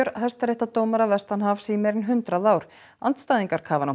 hæstaréttardómara vestanhafs í meira en hundrað ár andstæðingar